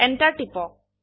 Enter টিপক